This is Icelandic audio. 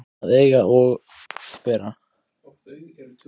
Að eiga að vera og vera